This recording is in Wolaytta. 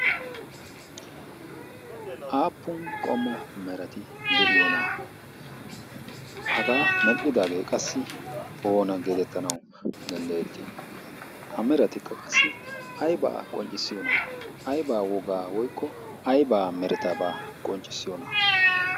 aappun qommo merati de'iyoo na'aa hagaa medhdhidaagee qassi oona geedettanawu danddayettii ha meratikka qassi aibaa qonccissiyoo na'aa aibaa wogaa woykko aibaa meretabaa qonccissiyoonahaa?